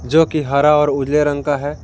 जो कि हरा और उजले रंग का है।